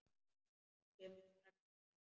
Hún kom strax fram.